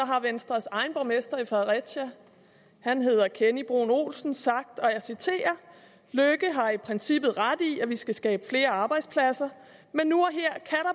har venstres egen borgmester i fredericia han hedder kenny bruun olsen sagt og jeg citerer løkke har i princippet ret i at vi skal skabe flere arbejdspladser men nu